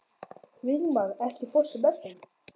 Vígmar, ekki fórstu með þeim?